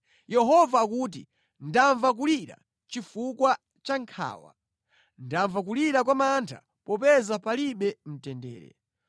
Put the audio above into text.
“Yehova akuti: “Ndamva kulira chifukwa cha nkhawa, ndamva kulira kwa mantha popeza palibe mtendere.